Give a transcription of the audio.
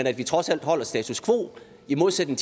at vi trods alt holder status quo i modsætning